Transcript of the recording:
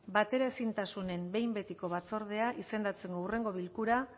bateraezintasunen behin betiko batzordea izendatzeko hurrengo bilkura